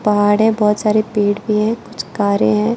पाहाड़ है बहुत सारे पेड़ भी हैं कुछ कारें हैं।